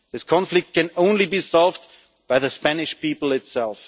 This conflict can only be solved by the Spanish people itself.